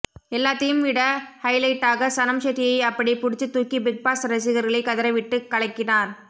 எல்லாத்தையும் விட ஹைலைட்டாக சனம் ஷெட்டியை அப்படி புடிச்சு தூக்கி பிக் பாஸ் ரசிகர்களை கதற விட்டு கலக்கினார்